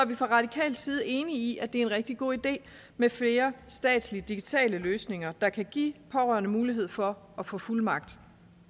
vi fra radikal side enige i at det er en rigtig god idé med flere statslige digitale løsninger der kan give pårørende mulighed for at få fuldmagt